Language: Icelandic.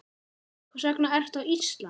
Hvers vegna ertu á Íslandi?